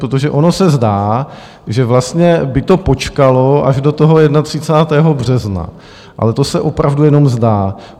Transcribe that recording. Protože ono se zdá, že vlastně by to počkalo až do toho 31. března, ale to se opravdu jenom zdá.